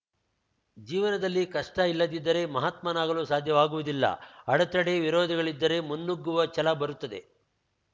ಜೀವನದಲ್ಲಿ ಕಷ್ಟಇಲ್ಲದಿದ್ದರೆ ಮಹಾತ್ಮನಾಗಲು ಸಾಧ್ಯವಾಗುವುದಿಲ್ಲ ಅಡತಡೆ ವಿರೋಧಗಳಿದ್ದರೆ ಮುನ್ನುಗ್ಗುವ ಛಲ ಬರುತ್ತದೆ